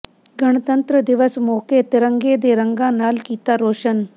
ਗਣਤੰਤਰ ਦਿਵਸ ਮੌਕੇ ਤਿਰੰਗੇ ਦੇ ਰੰਗਾਂ ਨਾਲ ਕੀਤਾ ਰੋਸ਼ਨ